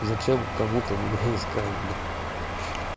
зачем кому-то меня искать блядь